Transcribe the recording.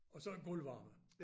Og så gulvvarme